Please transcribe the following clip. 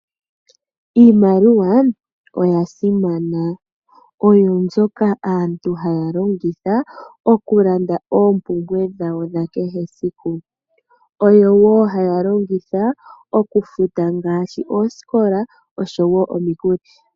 Iimaliwa oyasimana oyo mbyoka aantu haya longitha okulanda ompumbwe dahwo dha kehe esiku. Oyo wo halongitha okufuta ngaashi oskola oshowo omikuli.